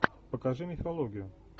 покажи мифологию